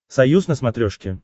союз на смотрешке